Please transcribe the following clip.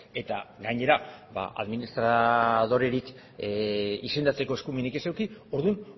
eta gainera administradorerik izendatzeko eskumenik ez eduki orduan